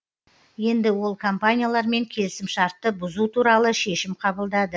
енді ол компаниялармен келісімшартты бұзу туралы шешім қабылдады